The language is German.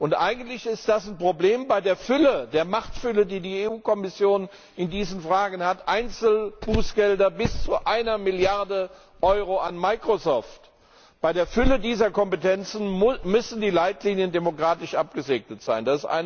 Und das ist ein Problem bei der Machtfülle, die die EU Kommission in diesen Fragen hat Einzelbußgelder bis zu einer Milliarde Euro an Microsoft! Bei der Fülle dieser Kompetenzen müssen die Leitlinien demokratisch abgesegnet sein.